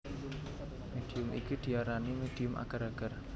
Médium iki diarani médium agar agar